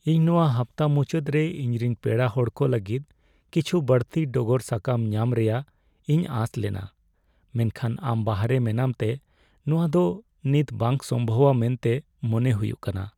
ᱤᱧ ᱱᱚᱶᱟ ᱦᱟᱯᱛᱟ ᱢᱩᱪᱟᱹᱫ ᱨᱮ ᱤᱧᱨᱮᱱ ᱯᱮᱲᱟ ᱦᱚᱲ ᱠᱚ ᱞᱟᱹᱜᱤᱫ ᱠᱤᱪᱷᱩ ᱵᱟᱹᱲᱛᱤ ᱰᱚᱜᱚᱨ ᱥᱟᱠᱟᱢ ᱧᱟᱢ ᱨᱮᱭᱟᱜ ᱤᱧ ᱟᱸᱥ ᱞᱮᱱᱟ , ᱢᱮᱱᱠᱷᱟᱱ ᱟᱢ ᱵᱟᱦᱚᱨᱮ ᱢᱮᱱᱟᱢᱛᱮ ᱱᱚᱶᱟ ᱫᱚ ᱱᱤᱛ ᱵᱟᱝ ᱥᱚᱢᱵᱷᱚᱵᱟ ᱢᱮᱱᱛᱮ ᱢᱚᱱᱮ ᱦᱩᱭᱩᱜ ᱠᱟᱱᱟ ᱾